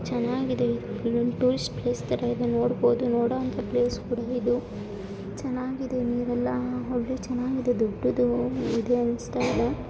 ಚೆನ್ನಾಗಿ tourist place ತರ ಇದೆ ನೋಡಬಹುದು. ನೋಡುವಂತಹ ಪ್ಲೇಸ್‌ ಇದು ಚೆನ್ನಾಗಿದೆ ನೀವು ಎಲ್ಲಾ ಹೋಗಿ ಚೆನ್ನಾಗಿದೆ ದೊಡ್ಡದು ಇದೆ ಅಂತಾ ಅನಿಸುತ್ತಿದೆ.